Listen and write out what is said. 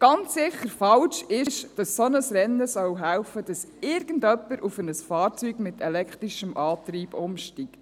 Ganz sicher falsch ist, dass ein solches Rennen helfen soll, dass irgendjemand auf ein Fahrzeug mit elektrischem Antrieb umsteigt.